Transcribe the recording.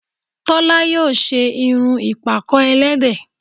Tólá yíò ṣe irun ìpàkọ́ ẹlẹ́dẹ̀